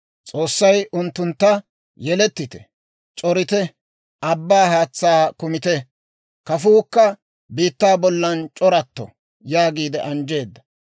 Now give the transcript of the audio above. S'oossay unttuntta, «Yelettite; c'orite; abbaa haatsaa kumite; kafuukka biittaa bollan c'oratto» yaagiide anjjeedda.